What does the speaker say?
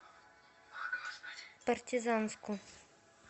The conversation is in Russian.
партизанску